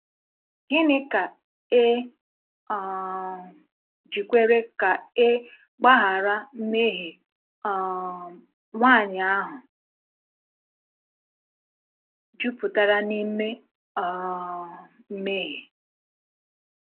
Gịnị ka e um ji kwere ka e gbaghara mmehie um nwanyị ahụ jupụtara n’ime um mmehie?